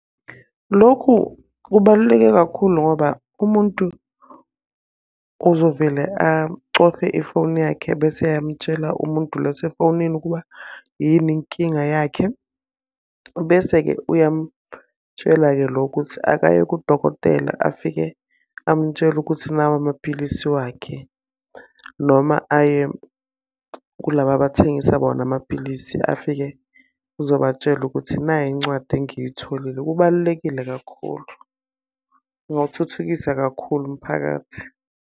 Lokhu kubaluleke kakhulu ngoba umuntu uzovele acofe ifoni yakhe bese eyamtshela umuntu lo osefonini ukuba yini inkinga yakhe. Bese-ke uyamutshela-ke lo ukuthi akaye kudokotela afike amutshele ukuthi nawa amapilisi wakhe. Noma aye kulaba abathengisa bona amapilisi afike, uzobatshela ukuthi nayi incwadi engiyitholile. Kubalulekile kakhulu, kungawuthuthukisa kakhulu mphakathi.